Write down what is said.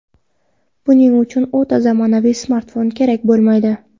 Buning uchun o‘ta zamonaviy smartfon kerak bo‘lmaydi.